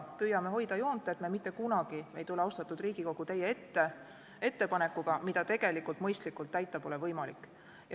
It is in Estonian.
Püüame hoida joont, et me ei tule mitte kunagi, austatud Riigikogu, teie ette ettepanekuga, mida mõistlikult täita pole võimalik.